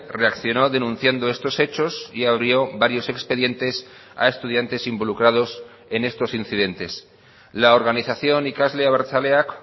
reaccionó denunciando estos hechos y abrió varios expedientes a estudiantes involucrados en estos incidentes la organización ikasle abertzaleak